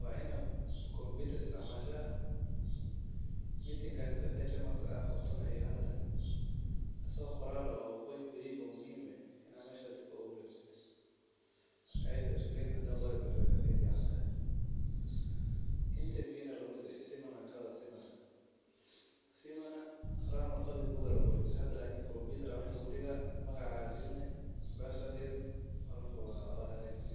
wa inaa kompyutar isticmashaa, meetingp-gas wixi remarks ad qabto ama hadal eh, asago qoral eh oo muhim si oo dadka uguwarejiso, ayadha iskudee karto kasifican, seminar na sidiokale waye, seminar hiran bug aa laisticmali jire lakin hada kompyutar aa mesha lugudigaah magaca aa galini password yar alafu wa hagajisani.